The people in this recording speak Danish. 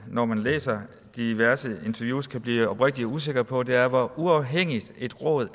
når man læser diverse interviews kan blive rigtig usikker på er hvor uafhængigt et råd